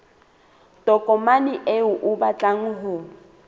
tokomane eo o batlang ho